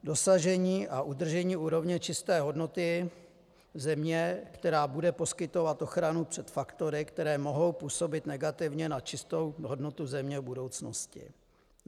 Dosažení a udržení úrovně čisté hodnoty země, která bude poskytovat ochranu před faktory, které mohou působit negativně na čistou hodnotu země v budoucnosti.